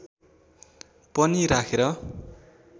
पनि राखेर